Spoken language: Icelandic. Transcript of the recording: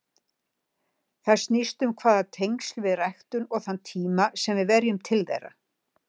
Það snýst um hvaða tengsl við ræktum og þann tíma sem við verjum til þeirra.